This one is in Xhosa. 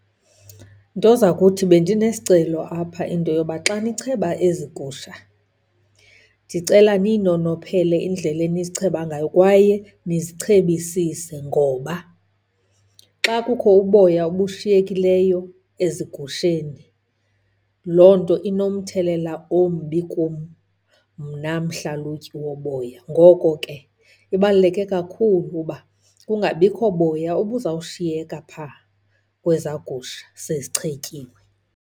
Nto zakuthi, bendine sicelo apha into yoba xa nicheba ezi gusha, ndicela niyinonophele indlela enizicheba ngayo kwaye nizichebisise. Ngoba xa kukho uboya obushiyekileyo ezigusheni, loo nto inomthelela ombi kum mna mhlalutyi woboya. Ngoko ke ibaluleke kakhulu ukuba kungabikho boya obuzawushiyeka pha kweza gusha sezichetyiwe.